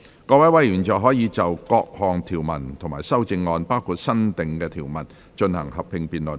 各位委員現在可以就各項條文及修正案，進行合併辯論。